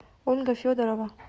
ольга федорова